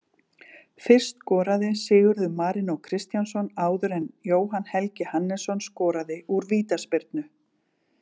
Fyrst skoraði Sigurður Marínó Kristjánsson áður en Jóhann Helgi Hannesson skoraði úr vítaspyrnu.